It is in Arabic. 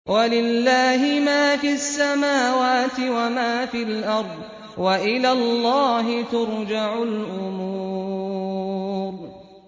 وَلِلَّهِ مَا فِي السَّمَاوَاتِ وَمَا فِي الْأَرْضِ ۚ وَإِلَى اللَّهِ تُرْجَعُ الْأُمُورُ